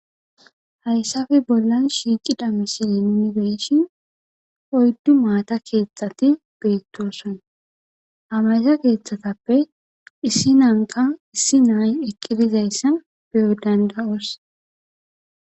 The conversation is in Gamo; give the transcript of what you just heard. Hayisape bollan shiqida misiley nuni be'ishin oyidu mata kethati betosona ha matakethatape issinanika issinoy eqidi dizaysa be'o danida'os